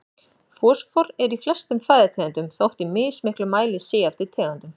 Fosfór er í flestum fæðutegundum þótt í mismiklum mæli sé eftir tegundum.